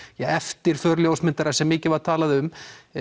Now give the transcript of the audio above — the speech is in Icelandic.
eftirför ljósmyndara sem mikið var talað um